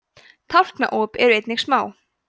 tálknaop eru einnig smá